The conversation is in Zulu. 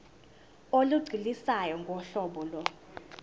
olugculisayo ngohlobo lo